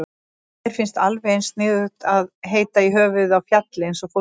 Mér finnst alveg eins sniðugt að heita í höfuðið á fjalli eins og fólki.